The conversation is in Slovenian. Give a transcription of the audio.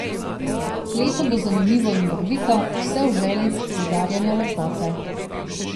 Leto bo zanimivo in barvito, vse v želji poudarjanja lepote.